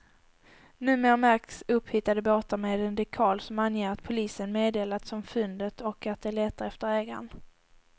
Numer märks upphittade båtar med en dekal som anger att polisen meddelats om fyndet och att de letar efter ägaren.